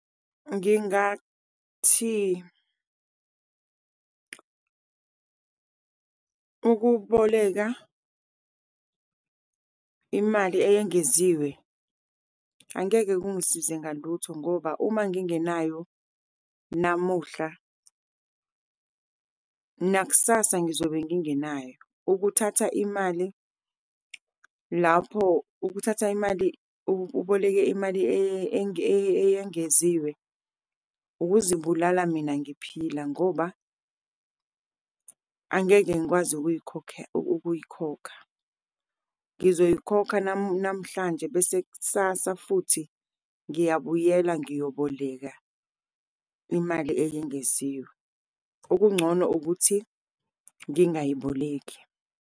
Ngingathi ukuboleka imali eyengeziwe angeke kungisize ngalutho ngoba uma ngingenayo namuhla, nakusasa ngizobe ngingenayo. Ukuthatha imali lapho, ukuthatha imali, uboleke imali eyengeziwe ukuzibulala mina ngiphila, ngoba angeke ngikwazi ukuyikhokha. Ngizoyikhokha namhlanje, bese kusasa futhi ngiyabuyela ngiyoboleka imali eyengeziwe. Okungcono ukuthi ngingayiboleki.